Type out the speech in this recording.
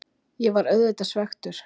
Ég var auðvitað svekktur.